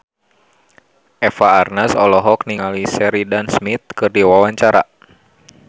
Eva Arnaz olohok ningali Sheridan Smith keur diwawancara